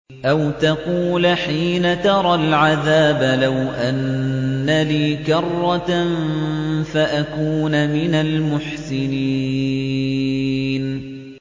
أَوْ تَقُولَ حِينَ تَرَى الْعَذَابَ لَوْ أَنَّ لِي كَرَّةً فَأَكُونَ مِنَ الْمُحْسِنِينَ